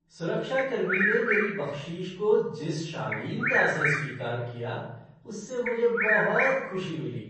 सुरक्षा कर्मी ने मेरी बख्शीश को जिस शालीनता से स्वीकार किया उससे मुझे बहुत खुशी मिली।